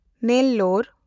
Nellore